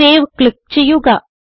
save click ചെയ്യുക